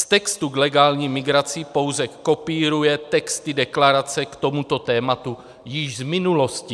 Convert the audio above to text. Z textu k legální migraci pouze kopíruje texty deklarace k tomuto tématu již z minulosti.